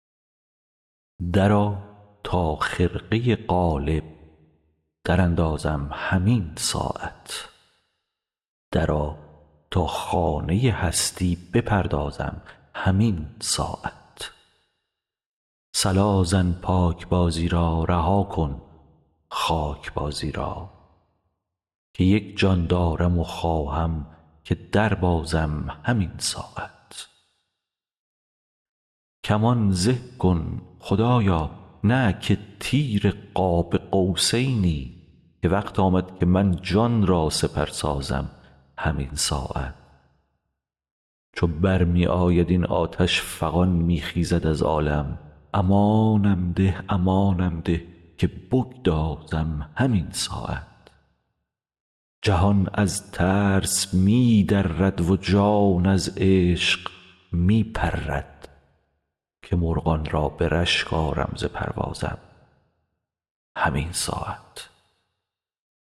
درآ تا خرقه قالب دراندازم همین ساعت درآ تا خانه هستی بپردازم همین ساعت صلا زن پاکبازی را رها کن خاک بازی را که یک جان دارم و خواهم که دربازم همین ساعت کمان زه کن خدایا نه که تیر قاب قوسینی که وقت آمد که من جان را سپر سازم همین ساعت چو بر می آید این آتش فغان می خیزد از عالم امانم ده امانم ده که بگدازم همین ساعت جهان از ترس می درد و جان از عشق می پرد که مرغان را به رشک آرم ز پروازم همین ساعت